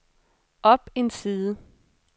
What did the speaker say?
op en side